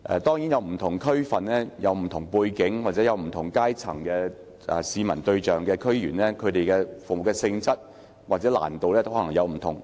當然，不同區份有不同背景，市民對象也可能來自不同階層，區議員服務的性質或難度可能也有所不同。